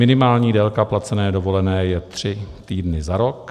Minimální délka placené dovolené je tři týdny za rok.